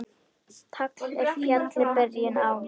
Tagl er fjalli byrjun á.